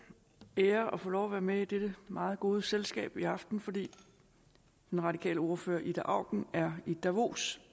ære at få lov at være med i dette meget gode selskab i aften fordi den radikale ordfører ida auken er i davos